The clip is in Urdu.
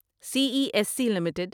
C E S C limited